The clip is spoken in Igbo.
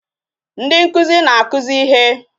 Ndi nkụzi na-akụzi ihe